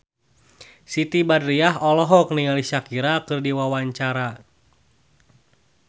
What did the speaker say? Siti Badriah olohok ningali Shakira keur diwawancara